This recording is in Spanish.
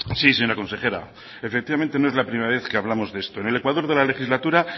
sí señora consejera efectivamente no es la primera vez que hablamos de esto en el ecuador de la legislatura